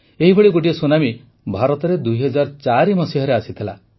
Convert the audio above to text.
ଏହିଭଳି ଗୋଟିଏ ସୁନାମୀ ଭାରତରେ ୨୦୦୪ ମସିହାରେ ଆସିଥିଲା